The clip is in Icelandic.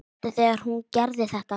Sástu þegar hún gerði þetta?